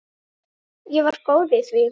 Ég var góð í því.